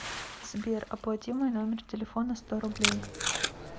сбер оплати мой номер телефона сто рублей